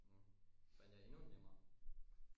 Hm fandt jeg endnu en nemmere